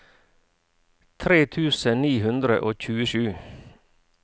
tre tusen ni hundre og tjuesju